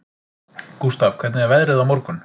Gústaf, hvernig er veðrið á morgun?